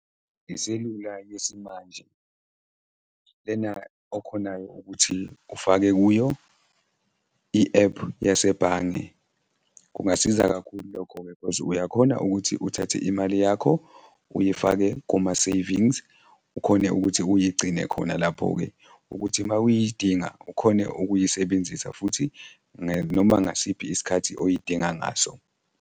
Iselula yesimanje, lena okhonayo ukuthi ufake kuyo i-app yasebhange. Kungasiza kakhulu lokho-ke cause uyakhona ukuthi uthathe imali yakho uyifake kuma-savings, ukhone ukuthi uyigcine khona lapho-ke ukuthi mawuyidinga ukhone ukuyisebenzisa futhi noma ngasiphi isikhathi oyidinga ngaso.